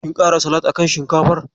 Kin kara salak a kan shinkafar?